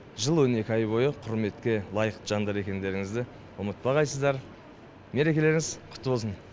жыл он екі ай бойы құрметке лайықты жандар екендеріңізді ұмытпағайсыздар мерекелеріңіз құтты болсын